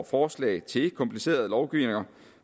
forslag til kompliceret lovgivning